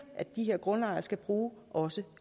at de her grundejere skal bruge også